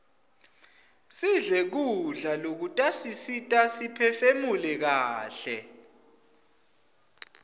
sidle kudla lokutasisita siphefumule kaihle